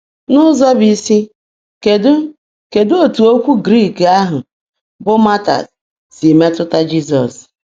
N’ụzọ bụ isi, kedụ kedụ etu okwu Grik ahụ bụ martys si metụta Jizọs?